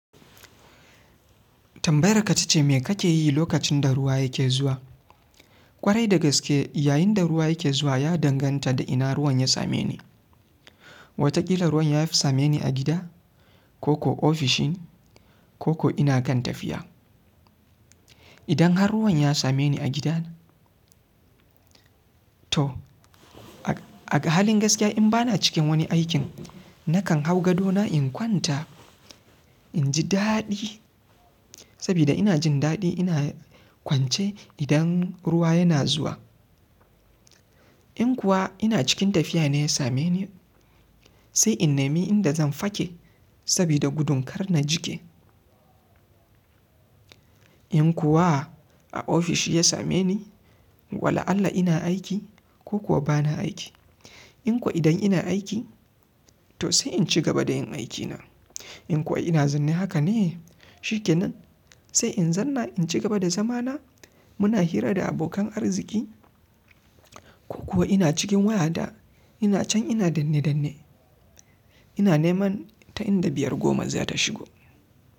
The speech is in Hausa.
Tambayar ka ta ce mai ka ke yi lokacin da ruwa ya ke zuwa? Kwarai da gaske yayin da ruwa yake zuwa ya danganta da ina ruwan ya same ni. Wataƙila ruwan ya fi same ni a gida ko kuwa ofishin ko kuwa ina kan tafiya. Idan har ruwan ya same ni a gidana, to a halin gaskiya in ba na cikin wani aikin nakan hau gado na in kwanta in ji daɗi saboda ina jin daɗi ina kwance idan ruwa yana zuwa. In kuwa ina cikin tafiya ne ya same ni sai in nemi inda zan fake saboda gudun kar na jike. In kuwa a ofishi ya same ni, wala'allah ina aiki ko kuwa ba na aiki. In ko idan ina aiki to sai in ci gaba da yin aikina. In kuwa ina zanne haka ne? Shi ke nan sai in zanna in ci gaba da zamana muna hira da abokan arziki ko kuwa ina cikin wayata ina can ina danne danne ina neman ta inda biyar goma za ta shigo.